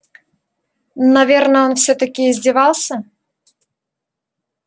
наверное он всё-таки издевался